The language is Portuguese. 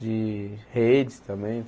De redes também.